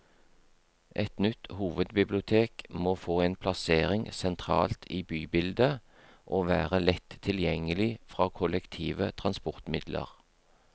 Et nytt hovedbibliotek må få en plassering sentralt i bybildet, og være lett tilgjengelig fra kollektive transportmidler.